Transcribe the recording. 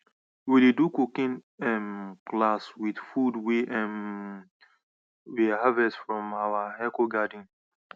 we dey do cooking um class with food wey um we harvest from our ehcogarden